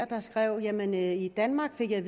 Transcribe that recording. der skrev jamen i danmark fik jeg